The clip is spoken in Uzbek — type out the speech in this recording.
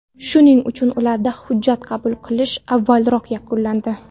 Shuning uchun ularda hujjat qabul qilish avvalroq yakunlandi.